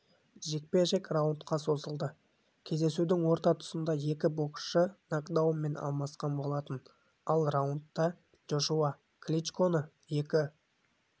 жекпе-жек раундқа созылды кездесудің орта тұсында екі боксшы накдаунмен алмасқан болатын ал раундта джошуа кличконы екі